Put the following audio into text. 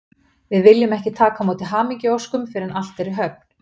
Við viljum ekki taka á móti hamingjuóskum fyrr en allt er í höfn.